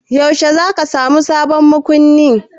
Yaushe za ka sa sabon makunni?